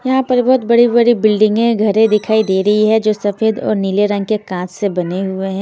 यहाँ पर बहुत बड़ी-बड़ी बिल्डिंगें घरें दिखाई दे रही है जो सफेद और नीले रंग के कांच से बने हुए हैं।